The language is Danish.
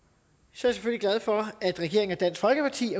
selvfølgelig glad for at regeringen og dansk folkeparti